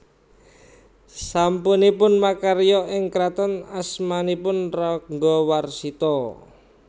Sasampunipun makarya ing kraton asmanipun Ranggawarsita